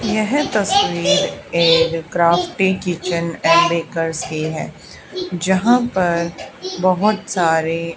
यहं तस्वीर एक क्राफ्टी किचेन एंड बेकर्स की है जहां पर बहुत सारे।